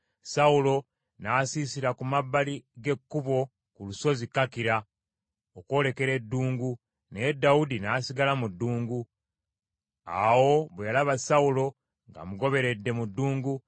Sawulo n’asiisira ku mabbali g’ekkubo ku lusozi Kakira okwolekera eddungu, naye Dawudi n’asigala mu ddungu. Awo bwe yalaba Sawulo ng’amugoberedde mu ddungu,